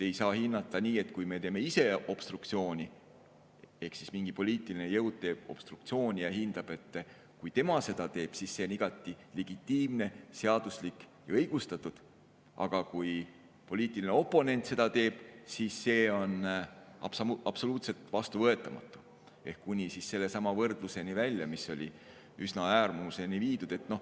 Ei saa hinnata nii, et kui me teeme ise obstruktsiooni ehk mingi poliitiline jõud teeb obstruktsiooni, siis see on igati legitiimne, seaduslik ja õigustatud, aga kui poliitiline oponent seda teeb, siis see on absoluutselt vastuvõetamatu, kuni sellesama võrdluseni välja, mis oli üsna äärmuseni viidud.